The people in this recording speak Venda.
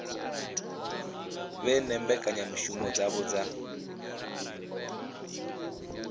vhe na mbekanyamushumo dzavho dza